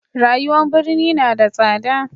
rayuwan birni na da tsada